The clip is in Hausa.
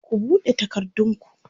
ku buɗe takardun ku!